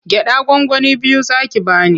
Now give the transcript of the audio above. Gyaɗa gwangwani biyu za ki ba ni.